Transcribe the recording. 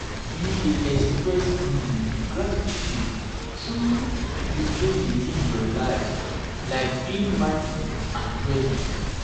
you fit express um gratitude through um di way live your um life like being mindful and present.